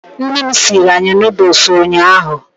Nne m siiri anyị nuduls ụnyaahụ.